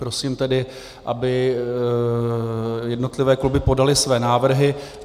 Prosím tedy, aby jednotlivé kluby podaly své návrhy.